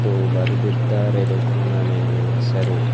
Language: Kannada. ಹಾಗೂ ಬರೆದಿದ್ದಾರೆ ದುಖಾನ ಮೇಲೆ ಹೆಸರು.